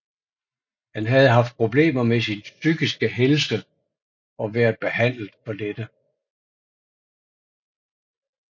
Han havde haft problemer med sin psykiske helse og været behandlet for dette